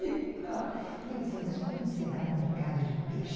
E eu dizia, mas como será um mercado de peixe?